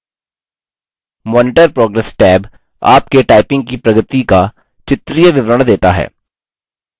monitor progress tab आपके typing की प्रगति का चित्रीय विवरण देता है